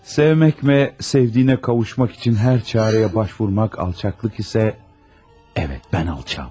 Sevmək, sevdiyinə qovuşmaq üçün hər çarəyə əl atmaq alçaqlıqdırsa, bəli, mən alçağam.